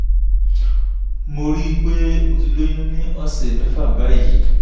mo rí i pé mo ti lóyún ní ọ̀sẹ̀ mẹ́fà báyìí